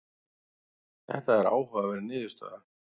þetta er áhugaverð niðurstaða